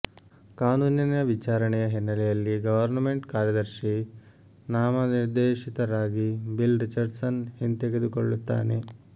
ಕಾನೂನಿನ ವಿಚಾರಣೆಯ ಹಿನ್ನೆಲೆಯಲ್ಲಿ ಗವರ್ನಮೆಂಟ್ ಕಾರ್ಯದರ್ಶಿ ನಾಮನಿರ್ದೇಶಿತರಾಗಿ ಬಿಲ್ ರಿಚರ್ಡ್ಸನ್ ಹಿಂತೆಗೆದುಕೊಳ್ಳುತ್ತಾನೆ